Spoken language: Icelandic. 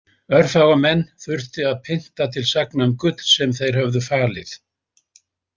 Örfáa menn þurfti að pynta til sagna um gull sem þeir höfðu falið.